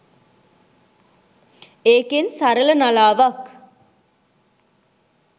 ඒකෙන් සරළ නලාවක්